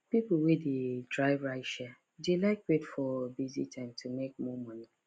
people wey dey drive rideshare dey like wait for busy time to make more money